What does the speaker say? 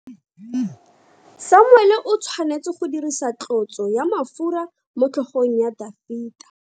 Samuele o tshwanetse go dirisa tlotso ya mafura motlhogong ya Dafita.